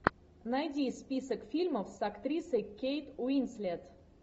найди список фильмов с актрисой кейт уинслет